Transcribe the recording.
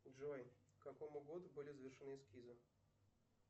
джой к какому году были завершены эскизы